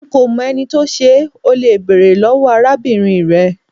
Nko mo eni to se, o le bere lowo arabinrin re